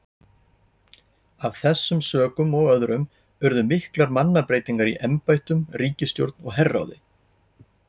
Af þessum sökum og öðrum urðu miklar mannabreytingar í embættum, ríkisstjórn og herráði.